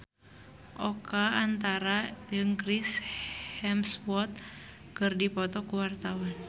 Oka Antara jeung Chris Hemsworth keur dipoto ku wartawan